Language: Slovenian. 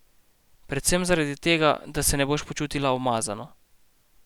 Predvsem zaradi tega, da se ne boš počutila umazano.